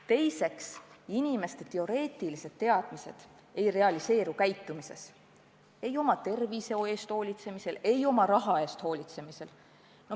Teiseks, inimeste teoreetilised teadmised ei pruugi realiseeruda tema käitumises – ei oma tervise eest hoolitsemisel ega oma raha eest hoolitsemisel.